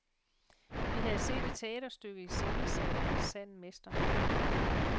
Vi havde set et teaterstykke iscenesat af en sand mester.